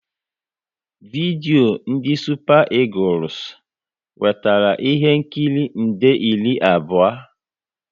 Vidio ndị Supa Egules nwetara ihe nkiri nde iri abụọ